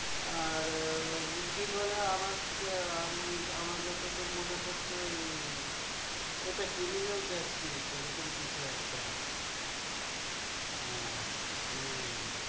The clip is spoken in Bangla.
আর উকিল ওয়ালা আমার উম আমার যতটুক মনে পড়ছে ওই ওইটা criminal justice এরকম কিছু একটা হ্যাঁ হম